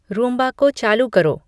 Roomba को चालू करो